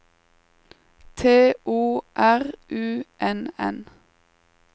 T O R U N N